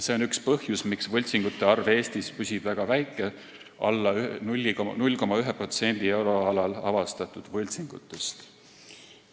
See on üks põhjus, miks püsib võltsingute arv Eestis väga väike, alla 0,1% euroalal avastatud võltsingutest.